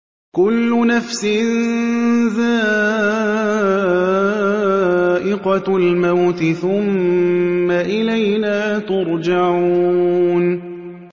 كُلُّ نَفْسٍ ذَائِقَةُ الْمَوْتِ ۖ ثُمَّ إِلَيْنَا تُرْجَعُونَ